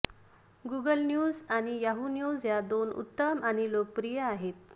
Google news आणि Yahoo news या दोन उत्तम आणि लोकप्रिय आहेत